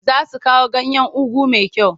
Za su kawo ganyan ugu mai kyau.